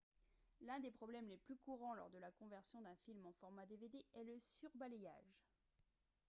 l'un des problèmes les plus courants lors de la conversion d'un film en format dvd est le surbalayage